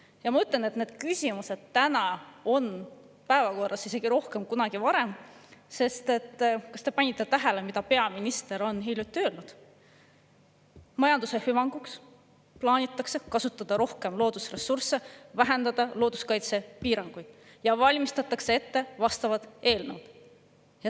Ja ma ütlen, et need küsimused on praegu päevakorras rohkem kui kunagi varem, sest kas te panite tähele, mida peaminister hiljuti ütles: majanduse hüvanguks plaanitakse kasutada rohkem loodusressursse, vähendada looduskaitsepiiranguid ja valmistatakse ette vastavad eelnõud.